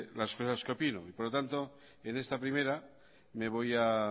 las cosas que opino por lo tanto en esta primera me voy a